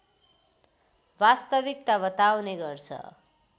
वास्तविकता बताउने गर्छ